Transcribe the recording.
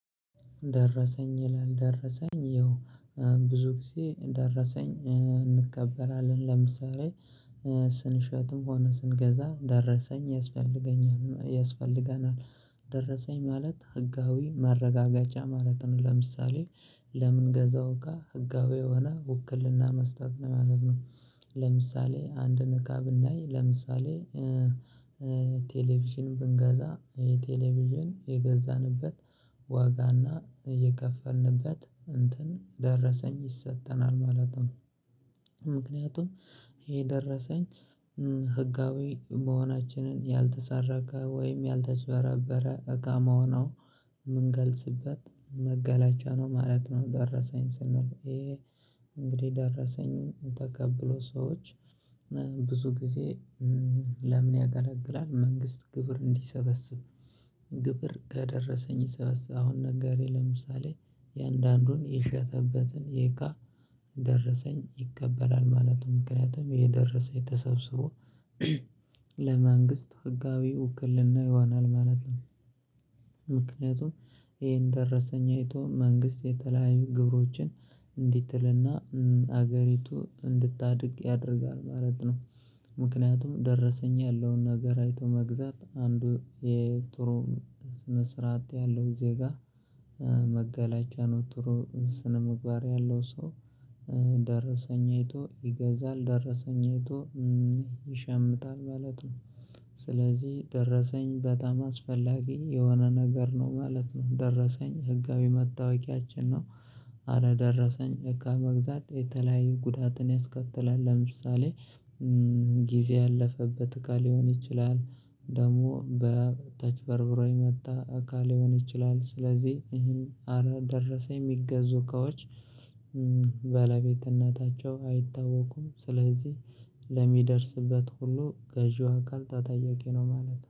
ደረሰኝ ይላል ደረሰኝ ያው ብዙ ጊዜ ደረሰኝ እንከበላለን ለምሳሌ ስንሸትም ሆነ ስንገዛ ደረሰኝ ያስፈልገኛል ያስፈልገናል። ደረሰኝ ማለት ህጋዊ ማረጋገጫ ማለት ነው። ለምሳሌ ለምንገዛው እቃ ህጋዊ የሆነ ውክልና መስጠት ነው ለማለት ነው። ለምሳሌ አንድን እቃ ብናይ ለምሳሌ ቴሌቪዥን ብንገዛ የቴሌቪዥን የገዛንበት ዋጋና እየከፈልንበት እንትን ደረሰኝ ይሰጠናል ማለት ነው። ምክንያቱም ይሄ ደረሰኝ ህጋዊ መሆናችንን ያልተሰረከ ወይም ያልተጭበረበረ እቃ መሆኑ የምንገልጽበት መገለጫ ነው ማለት ነው። ደረሰኝ ስንል ይሄ እንግዲህ ደረሰኝ ተቀብሎ ሰዎች ብዙ ጊዜ ለምን? ያገለግላል መንግስት ግብር እንዲሰበስብ። ግብር ከደረሰኝ ይሰበስብ አሁን ነጋዴ ለምሳሌ የአንዳንዱን የሸተበትን የእቃ ደረሰኝ ይቀበላል ማለቱም ምክንያቱም የደረሰኝ ተሰብስቦ ለመንግስት ህጋዊ ውክልና ይሆናል ማለት ነው። ምክንያቱም ይሄን ደረሰኝ አይቶ መንግስት የተለያዩ ግብሮችን እንዲትልና ሀገሪቱ እንድታድግ ያደርጋል ማለት ነው። ምክንያቱም ደረሰኝ ያለውን ነገር አይቶ መግዛት አንዱ የጥሩ ስነ ስርዓት ያለው ዜጋ መገለጫ ነው ጥሩ ስነምግባር ያለው ሰው። ደረሰኝ አይቶ ይገዛል ደረሰኝ አይቶ ይሸምጣል ማለት ነው። ስለዚህ ደረሰኝ በጣም አስፈላጊ የሆነ ነገር ነው ማለት ነው። ደረሰኝ ህጋዊ መታወቂያችን ነው። አለ ደረሰኝ እቃ መግዛት የተለያየ ጉዳትን ያስከትላል። ለምሳሌ ጊዜ ያለፈበት እቃ ሊሆን ይችላል። ደግሞ በተችበርብሮ የመጣ አካል ሊሆን ይችላል። ስለዚህ ይሄን አረ ደረሰ የሚገዙ እቃዎች ባለቤትእነታቸው አይታወቁም። ስለዚህ ለሚደርስበት ሁሉ ገዢው አካል ተጠያቂ ነው ማለት ነው